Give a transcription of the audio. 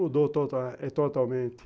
Mudou eh totalmente.